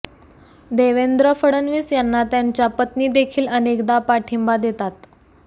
देवेंद्र फडणवीस यांना त्यांच्या पत्नी देखील अनेकदा पाठिंबा देतात